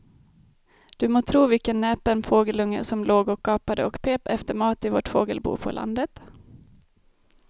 Du må tro vilken näpen fågelunge som låg och gapade och pep efter mat i vårt fågelbo på landet.